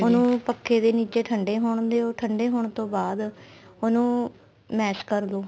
ਉਹਨੂੰ ਪੱਖੇ ਦੇ ਨੀਚੇ ਠੰਡੇ ਹੋਣ ਦਿਉ ਠੰਡੇ ਹੋਣ ਤੋਂ ਬਾਅਦ ਉਹਨੂੰ mash ਕਰਲੋ